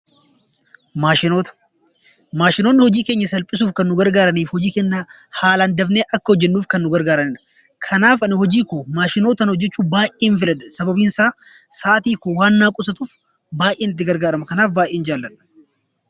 Maashinoonni hojii keenya salphisuuf kan nu gargaaranii fi hojii keenya haalaan dafnee akka hojjannuuf kan nu gargaaranidha. Kanaaf Ani hojii koo maashinootaan hojjachuu baay'een filadha sababiin isaa sa'aatii koo waan naaf qusatuuf baay'een itti gargaarama kanaaf baay'een jaalladha.